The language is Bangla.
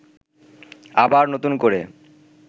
আবার নতুন করে